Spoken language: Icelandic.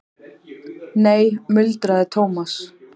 Nei muldraði Thomas.